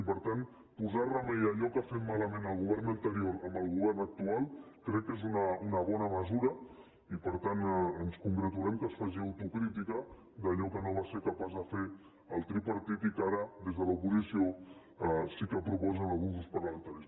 i per tant posar remei a allò que ha fet malament el govern anterior amb el govern actual crec que és una bona mesura i per tant ens congratulem que es faci autocrítica d’allò que no va ser capaç de fer el tripar·tit i que ara des de l’oposició sí que proposen alguns grups parlamentaris